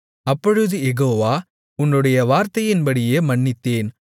அப்பொழுது யெகோவா உன்னுடைய வார்த்தையின்படியே மன்னித்தேன்